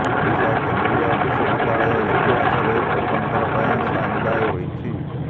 ଓଡ଼ିଶା କେନ୍ଦ୍ରୀୟ ବିଶ୍ୱବିଦ୍ୟାଳୟ ଇତିହାସରେ ପ୍ରଥମ ଥର ପାଇଁ ସାଇନ ଡାଏ ହୋଇଛି